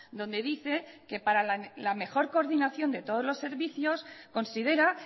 donde dice que para la mejor coordinación de todos los servicios considera